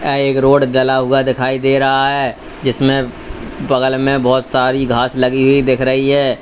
यह एक रोड जला हुआ दिखाई दे रहा है जिसमें बगल में बहुत सारी घास लगी हुई दिख रही है।